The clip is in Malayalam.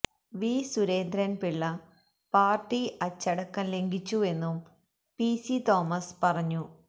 വി സുരേന്ദ്രൻ പിള്ള പാർട്ടി അച്ചടക്കം ലംഘിച്ചുവെന്നും പി സി തോമസ് പറഞ്ഞു